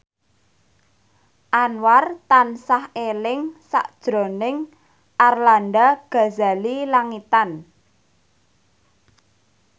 Anwar tansah eling sakjroning Arlanda Ghazali Langitan